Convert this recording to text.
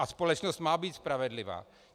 A společnost má být spravedlivá.